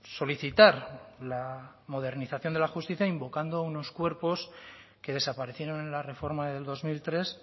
solicitar la modernización de la justicia invocando unos cuerpos que desaparecieron en la reforma del dos mil tres